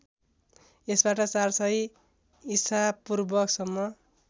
यसबाट ४०० ईशापूर्वसम्म